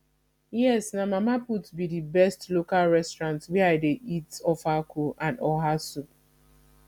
yes na mama put be di best local restaurant wey i dey eat ofeakwu and oha soup